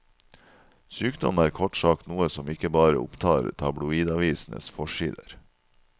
Sykdom er kort sagt noe som ikke bare opptar tabloidavisenes forsider.